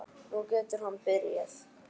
Nú getur hann byrjað.